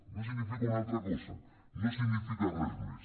no significa una altra cosa no significa res més